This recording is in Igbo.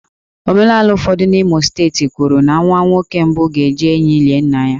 Omenala ụfọdụ n'Imo steeti kwuru na nwa nwoke mbụ ga-eji ehi lie nna ha